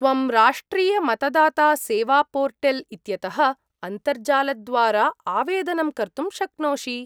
त्वं राष्ट्रियमतदातासेवापोर्टल् इत्यतः अन्तर्जालद्वारा आवेदनं कर्तुं शक्नोषि।